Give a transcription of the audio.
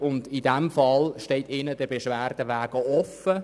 In diesem Fall steht ihnen der Beschwerdeweg offen.